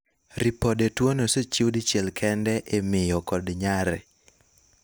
ripode tuono osechiw dichiel kende ,e miyo kod nyare